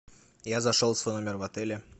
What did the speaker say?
я зашел в свой номер в отеле